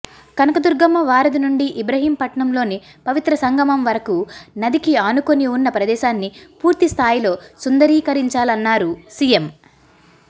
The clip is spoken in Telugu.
కనకదుర్గమ్మ వారధి నుండి ఇబ్రహీంపట్నంలోని పవిత్ర సంగమం వరకు నదికి ఆనుకొని ఉన్న ప్రదేశాన్ని పూర్థిస్తాయిలో సుందరీకరించాలన్నారు సీఎం